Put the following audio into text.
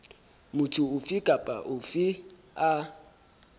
motho ofe kapa ofe a